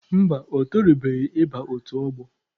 Mba, o torubeghị ịba otu ọgbọ.